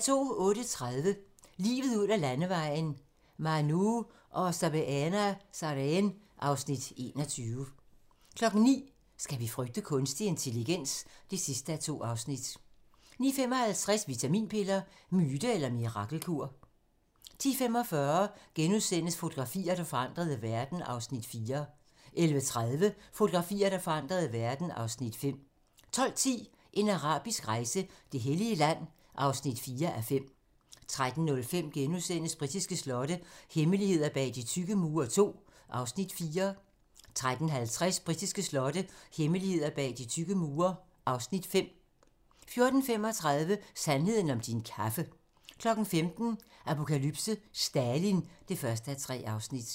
08:30: Livet ud ad landevejen: Manu og Sabeena Sareen (Afs. 21) 09:00: Skal vi frygte kunstig intelligens? (2:2) 09:55: Vitaminpiller - myte eller mirakelkur? 10:45: Fotografier, der forandrede verden (Afs. 4)* 11:30: Fotografier, der forandrede verden (Afs. 5) 12:10: En arabisk rejse: Det hellige land (4:5) 13:05: Britiske slotte - hemmeligheder bag de tykke mure II (Afs. 4)* 13:50: Britiske slotte - hemmeligheder bag de tykke mure (Afs. 5) 14:35: Sandheden om din kaffe 15:00: Apokalypse: Stalin (1:3)